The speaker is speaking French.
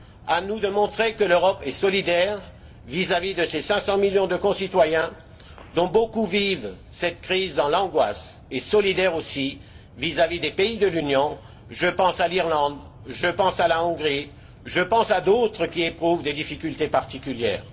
À nous de montrer que l'Europe est solidaire vis à vis de ses 500 millions de concitoyens, dont beaucoup vivent cette crise dans l'angoisse, et solidaire aussi vis à vis des pays de l'Union je pense à l'Irlande, je pense à la Hongrie, je pense à d'autres qui éprouvent des difficultés particulières.